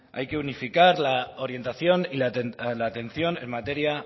hay que unificar la orientación y la atención en materia